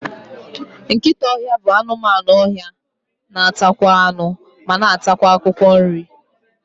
Nkịta ọhịa bụ anụmanụ ọhịa na atakwa anụ, ma na atakwa akwụkwọ nri